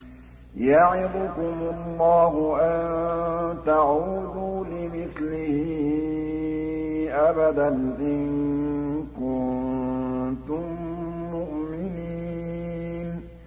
يَعِظُكُمُ اللَّهُ أَن تَعُودُوا لِمِثْلِهِ أَبَدًا إِن كُنتُم مُّؤْمِنِينَ